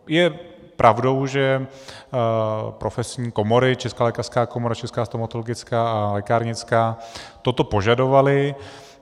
Je pravdou, že profesní komory - Česká lékařská komora, Česká stomatologická a lékárnická toto požadovaly.